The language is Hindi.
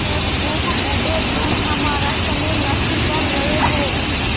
बेवकूफ़ बूढ़े तुम हमारा समय नष्ट कर रहे हो